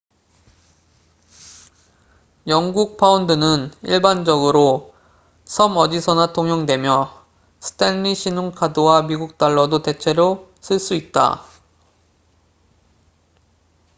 영국 파운드는 일반적으로 섬 어디서나 통용되며 스탠리 신용카드와 미국 달러도 대체로 쓸 수 있다